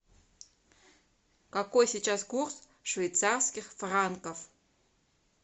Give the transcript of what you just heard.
какой сейчас курс швейцарских франков